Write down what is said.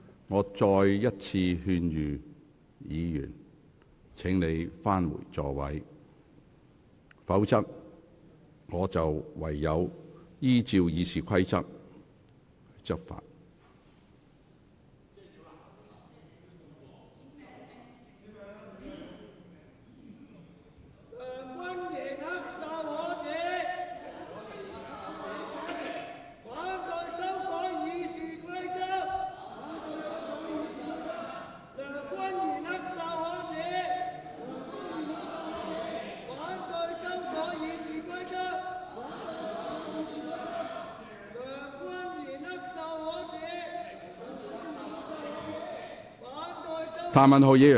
我再次勸諭議員返回座位，否則我唯有執行《議事規則》。